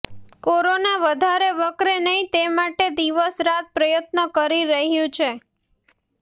corona વધારે વકરે નહી તે માટે દિવસરાત પ્રયત્નો કરી રહ્યું છે